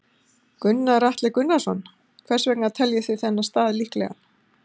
Gunnar Atli Gunnarsson: Hvers vegna teljið þið þennan stað líklegan?